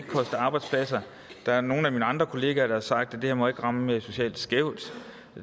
koste arbejdspladser der er nogle af mine andre kollegaer der har sagt at det her ikke må ramme socialt skævt